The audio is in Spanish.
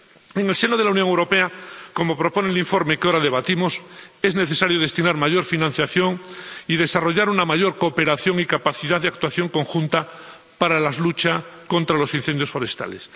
En el seno de la Unión Europea, como propone el informe que ahora debatimos, es necesario destinar mayor financiación y desarrollar una mayor cooperación y capacidad de actuación conjunta para la lucha contra los incendios forestales.